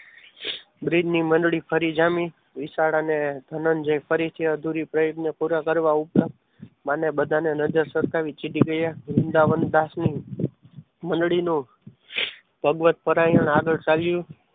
બ્રિજની મંડળી ફરી જામી વિશાળાને જઈ નો પરિચય અધૂરું રહ્યો તેને પૂરો કરવા ઉપરાંત માને બધાને નજર સરકાવી દીધી ગયા વૃંદાવનદાસની મંડળીનો ભગવત પરાયણ આગળ ચાલી.